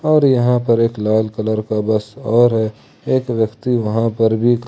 और यहां पर एक लाल कलर का बस और है एक व्यक्ति वहां पर भी --